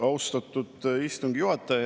Austatud istungi juhataja!